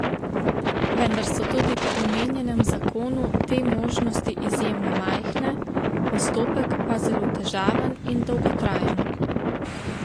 Vendar so tudi po omenjenem zakonu te možnosti izjemno majhne, postopek pa zelo težaven in dolgotrajen.